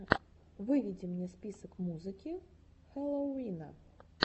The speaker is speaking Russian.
выведи мне список музыки хэллоувина